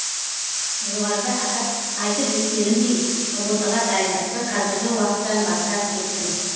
жоғарыда айтып өткенімдей ұбт ға дайындықты қазіргі уақыттан бастап кеттім